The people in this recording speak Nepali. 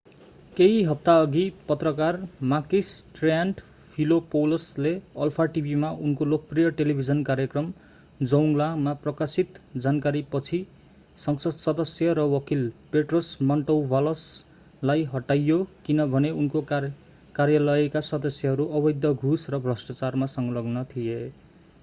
केही हप्ताअघि पत्रकार makis triantafylopoulos ले अल्फा टिभीमा उनको लोकप्रिय टेलिभिजन कार्यक्रम zoungla मा प्रकाशित जानकारीपछि संसद सदस्य र वकील petros mantouvalos लाई हटाइयो किनभने उनको कार्यालयका सदस्यहरू अवैध घूस र भ्रष्टाचारमा संलग्न थिए